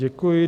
Děkuji.